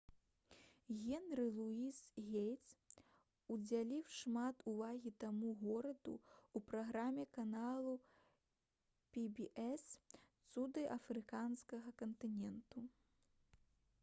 генры луіс гейтс удзяліў шмат увагі гэтаму гораду ў праграме канала pbs «цуды афрыканскага кантыненту»